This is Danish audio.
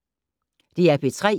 DR P3